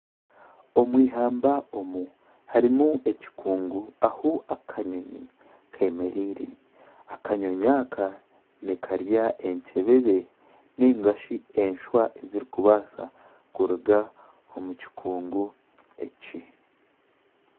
Omu eihamba omu harimu ekikungu ahu akanyonyi kemereire. Akanyonyi aka nikarya enkyebebe ninga shi enshwa ezirikubaasa kuruga omu kikungu eki.